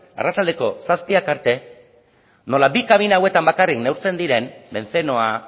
arratsaldeko zazpiak arte nola bi kabina hauetan bakarrik neurtzen diren bentzenoa